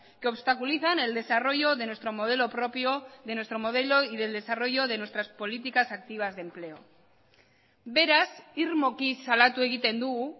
que obstaculizan el desarrollo de nuestro modelo propio de nuestro modelo y del desarrollo de nuestras políticas activas de empleo beraz irmoki salatu egiten dugu